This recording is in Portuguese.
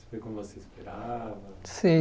Foi como você esperava? Sim